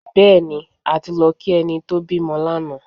Bẹ́ẹ̀ni, a ti lọ kí ẹni tó bímọ lánàá